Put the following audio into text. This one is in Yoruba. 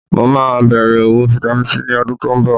Mo máa bẹ̀rẹ̀ òwò Vitamin C ní ọdún tó ń bọ̀